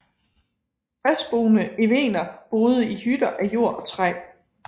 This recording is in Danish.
Fastboende evener boede i hytter af jord og træ